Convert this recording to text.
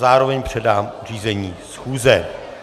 Zároveň předám řízení schůze.